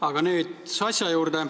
Aga nüüd asja juurde.